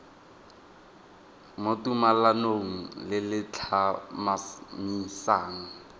mo tumalanong le le tlhomamisang